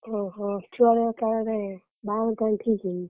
ଓହୋ ଛୁଆଳିଆ କାଳରେ ବାହାଘର କଣ ଠିକ୍‌?